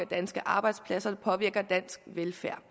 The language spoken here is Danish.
danske arbejdspladser og det påvirker dansk velfærd